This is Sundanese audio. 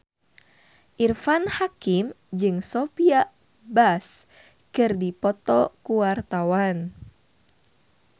Irfan Hakim jeung Sophia Bush keur dipoto ku wartawan